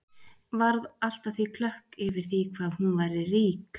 Varð allt að því klökk yfir því hvað hún væri rík.